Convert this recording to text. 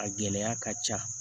A gɛlɛya ka ca